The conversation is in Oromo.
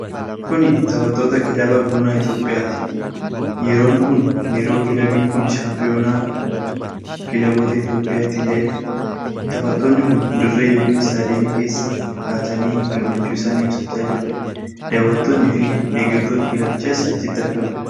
Kuni taphattoota kilabii Buna Itoophiyaati. Yeroon kun yeroo kilabiin kun shaampiyoona a kilaboota Itoophiyaa itti ta'edha. Taphattoonni kun dirree ykn istaadiyeemii keessa kaatanii gammachuu isaanii ibsachaa jiru. Dawwattoonni fi deggartoonni kilabichaas achitti argamu.